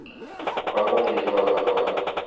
у холмов есть глаза два